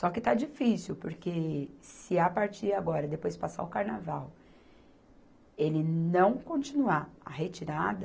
Só que está difícil, porque se a partir agora, depois passar o carnaval, ele não continuar a retirada,